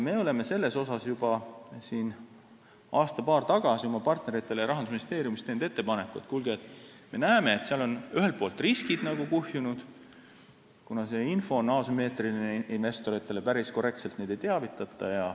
Me oleme selle kohta juba aasta või paar tagasi oma partneritele Rahandusministeeriumist teinud ettepanekuid, et kuulge, me näeme, et seal on riskid kuhjunud, kuna see info on asümmeetriline investoritele, päris korrektselt neid ei teavitata.